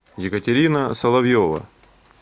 екатерина соловьева